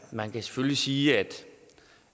man kan selvfølgelig sige at